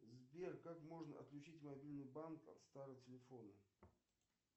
сбер как можно отключить мобильный банк от старого телефона